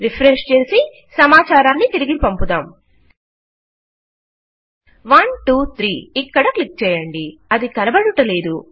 refresh చేసి సమాచారాన్ని తిరిగి పంపుదాం 123 ఇక్కడ క్లిక్ చేయండి అది కనబడుటలేదు